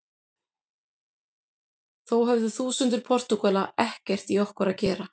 Þó höfðu þúsundir Portúgala ekkert í okkur að gera.